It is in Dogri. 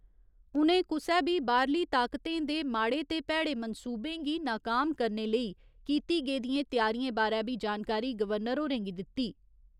उ'नें कुसै बी बाह्‌रली ताकतें दे माड़े ते भैड़े मंसूबें गी नकाम करने लेई कीती गेदियें त्यारियें बारै बी जानकारी गवर्नर होरें गी दित्ती।